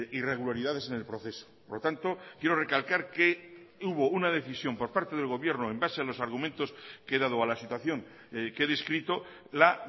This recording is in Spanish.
irregularidades en el proceso por lo tanto quiero recalcar que hubo una decisión por parte del gobierno en base a los argumentos que he dado a la situación que he descrito la